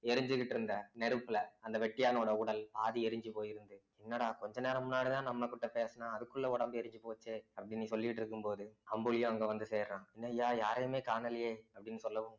எரிஞ்சுக்கிட்டிருந்த நெருப்புல அந்த வெட்டியானுடைய உடல் பாதி எரிஞ்சு போயிருந்தது என்னடா கொஞ்ச நேரம் முன்னாடிதான் நம்மகிட்ட பேசினான் அதுக்குள்ள உடம்பு எரிஞ்சு போச்சே அப்படின்னு சொல்லிட்டு இருக்கும்போது அம்புலியும் அங்க வந்து சேருறான் என்னய்யா யாரையுமே காணலையே அப்படின்னு சொல்லவும்